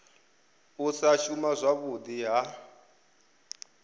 u sa shuma zwavhudi ha